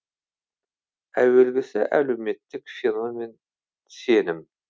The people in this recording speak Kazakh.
әуелгісі әлеуметтік феномен сенім